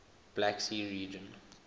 black sea region